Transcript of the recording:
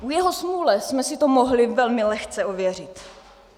K jeho smůle jsme si to mohli velmi lehce ověřit.